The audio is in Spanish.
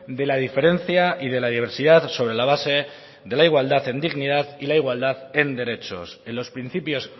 de la diferencia y de la diversidad sobre la base de la igualdad en dignidad y la igualdad en derechos en los principios